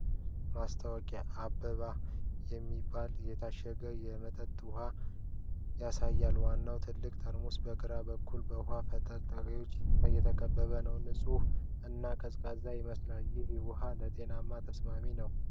ማስታወቂያ "አበባ" የሚባል የታሸገ የመጠጥ ውሃ ያሳያል። ዋናው ትልቅ ጠርሙስ በግራ በኩል በውሃ ፍንጣቂዎች የተከበበ ነው። ንፁህ እና ቀዝቃዛ ይመስላል። ይህ ውሃ ለጤና ተስማሚ ነው?